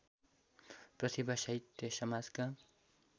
प्रतिभा साहित्य समाजका